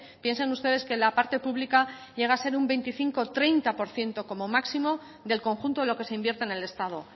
piensen ustedes que la parte pública llega a ser un veinticinco por ciento treinta por ciento como máximo del conjunto de lo que se invierte en el estado